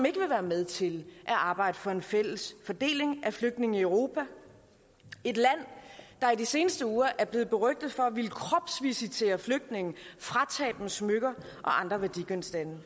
ikke vil være med til at arbejde for en fælles fordeling af flygtninge i europa et land der i de seneste uger er blevet berygtet for at ville kropsvisitere flygtninge og fratage dem smykker og andre værdigenstande